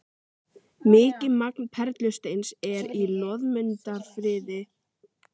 Mikið magn perlusteins er í Loðmundarfirði og Prestahnúk á Kaldadal.